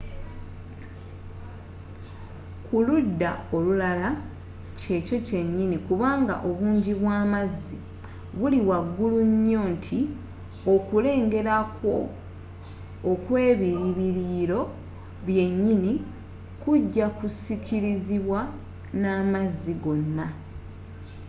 kuludda olulala kyekyo kyenyinyi kubanga obungi bwamazzi buli waggulu nyo nti okulengera kwo okw'ebilibiliyiro byenyini kuja kusikirizibwa namazzi gonna